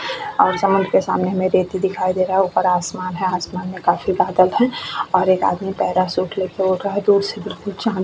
और साउंड के सामने हमें दिखाई दे रहा है उपर आसमान है आसमान मै काफी बादल है और एक आदमी पैराशूट लेके उड़ रहा है दूर से बिलकुल चाँद --